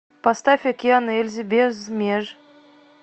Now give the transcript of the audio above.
поставь океан ельзи без меж